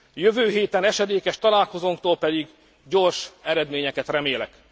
Jövő héten esedékes találkozónktól pedig gyors eredményeket remélek.